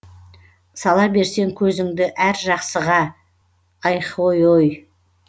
сала берсең көзіңді әр жақсыға айхойой